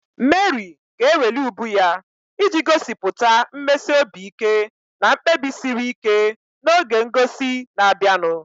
Meri ga-eweli ubu ya iji gosipụta mmesi obi ike na mkpebi siri ike n'oge ngosi na-abịanụ.